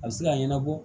A bɛ se ka ɲɛnabɔ